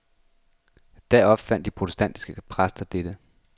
Da opfandt de protestantiske præster dette.